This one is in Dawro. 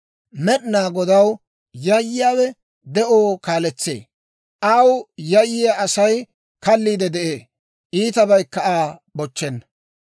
Med'inaa Godaw yayyiyaawe de'oo kaaletsee; aw yayyiyaa Asay kalliide de'ee; iitabaykka Aa bochchenna.